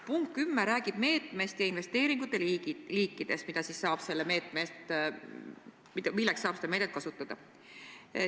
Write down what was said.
Punkt 10 räägib meetmest ja investeeringute liikidest, milleks saab seda meedet kasutada.